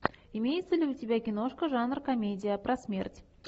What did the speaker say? имеется ли у тебя киношка жанр комедия про смерть